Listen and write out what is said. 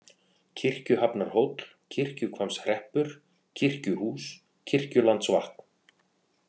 Kirkjuhafnarhóll, Kirkjuhvammshreppur, Kirkjuhús, Kirkjulandsvatn